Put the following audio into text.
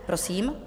Prosím.